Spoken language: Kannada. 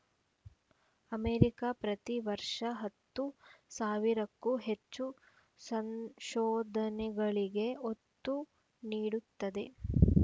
ಅಮೇರಿಕಾ ಪ್ರತಿ ವರ್ಷ ಹತ್ತು ಸಾವಿರಕ್ಕೂ ಹೆಚ್ಚು ಸಂಶೋಧನೆಗಳಿಗೆ ಒತ್ತು ನೀಡುತ್ತದೆ